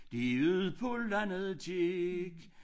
De ud på landet gik